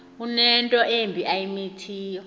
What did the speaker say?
unento embi ayimithiyo